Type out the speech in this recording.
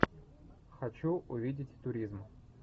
хочу увидеть туризм